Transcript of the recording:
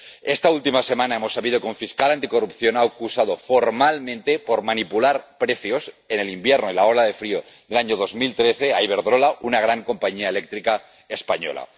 Esta última semana hemos sabido que un fiscal anticorrupción ha acusado formalmente por manipular precios en el invierno de la ola de frío, el año 2013, a Iberdrola, una gran compañía eléctrica española.